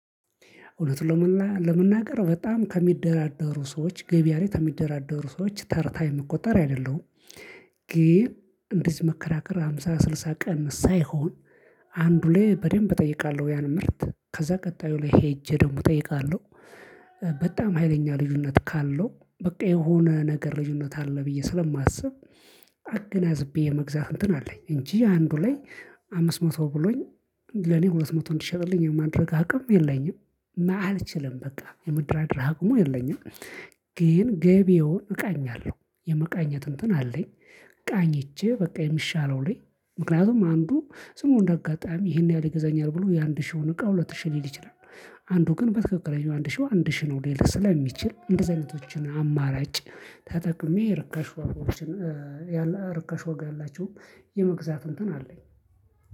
እውነት ለመናገር በጣም ከሚደራደሩ ሰዎች ገበያ ላይ ከሚደራደሩ ሰዎች ተርታ የሚቆጠር አይደለሁም። ግን እንዲህ መከራከር ሃምሳ ስልሳ ቀን ሳይሆን። አንዱ ላይ በደንብ እጠይቃለሁ ያን ምርት ከዛ ቀጣዩ ላይ ሄጄ ደግሞ እጠይቃለሁ። በጣም ሀይለኛ ልዩነት ካለው በቃ የሆነ ነገር ልዩነት አለ ብዬ ስለማስብ። አገናዝቤ የመግዛት እንትን አለኝ እንጂ አንዱ ላይ አምስት መቶ ብሎኝ ለኔ ሁለት መቶ እንዲሸጥልኝ የማድረግ አቅም የለኝም አልችልም በቃ የመደራደር አቅሙ የለኝም። ግን ገቢውን እቃኛለሁ የመቃኘት እንትን አለኝ። ቃኝቼ በቃ የሚሻለው ላይ ምክንያቱም አንዱ ዝምብሎ አንደ አጋጣሚ ይሄን ያህል ይገዛኛል ብሎ የአንድ ሺህ የሆነ እቃ ሁለት ሺህ ሊል ይችላል። አንዱ ግን በትክክለኛው አንድ ሺህ አንድ ሺህ ነው። ሌላ ስለሚችል እንደዚህ አይነቶችን አማራጭ ተጠቅሜ። ርካሽ ዋጋ ያላቸውን የመግዛት እንትን አለኝ።